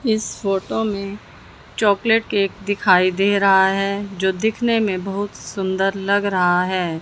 इस फोटो मे chocolate cake दिखाई दे रहा है जो दिखने में बहुत सुंदर लग रहा है।